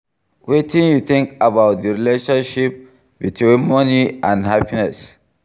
Wetin you think about di relationship between money and happiness?